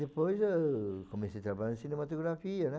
Depois eu comecei a trabalhar em cinematografia, né?